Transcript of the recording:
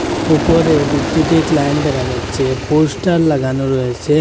উপরে বিদ্যুতিক লাইন দেখা যাচ্ছে পোস্টার লাগানো রয়েছে।